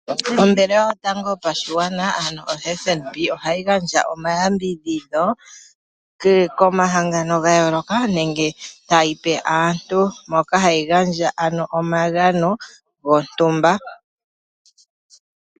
Ombaanga yotango yopashigwana ano FNB ohayi gandja omayambidhidho komahangano ga yooloka nenge tayi pe aantu moka hayi gandja omagano gontumba.